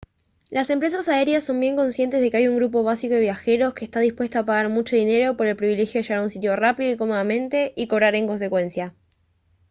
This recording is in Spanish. las empresas aéreas son bien conscientes de que hay un grupo básico de viajeros que está dispuesto a pagar mucho dinero por el privilegio de llegar a un sitio rápido y cómodamente y cobrar en consecuencia